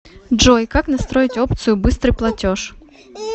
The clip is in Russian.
джой как настроить опцию быстрый платеж